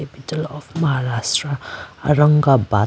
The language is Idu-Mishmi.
capital of Maharashtra Aurangabad capital .